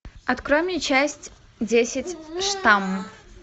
открой мне часть десять штамм